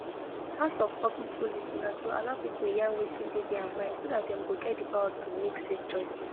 part of public policy na to allow people yarn wetin dey their mind so dat dem go get di power to make safe choices